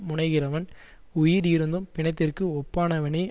முனைகிறவன் உயிர் இருந்தும் பிணத்திற்கு ஒப்பானவனேயாவான்